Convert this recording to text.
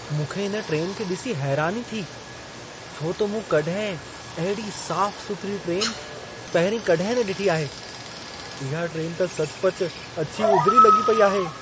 मूंखे इन ट्रेन खे ॾिसी हैरानी थी छो त मूं कॾहिं अहिड़ी साफ़ु सुथिरी ट्रेन पहिरीं कॾहिं न ॾिठी आहे! इहा ट्रेन त सचुपचु अछी उजिरी लॻी पई आहे।